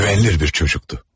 Güvenilir bir çocuktu.